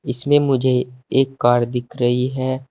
इसमें मुझे एक कार दिख रही है।